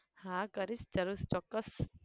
હા કરીશ જરૂર ચોક્કસ